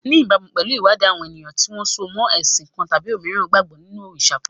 Ní ìbámu pẹ̀lú ìwádìí, àwọn ènìyàn tí wọ́n so mọ́ ẹ̀sìn kan tàbí òmíràn gbàgbọ́ nínú òrìṣà kan.